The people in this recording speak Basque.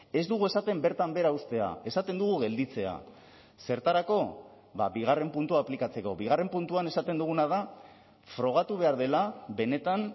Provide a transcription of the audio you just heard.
ez dugu esaten bertan behera uztea esaten dugu gelditzea zertarako bigarren puntua aplikatzeko bigarren puntuan esaten duguna da frogatu behar dela benetan